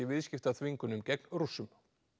viðskiptaþvingunum gegn Rússum